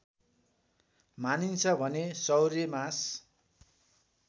मानिन्छ भने सौर्यमास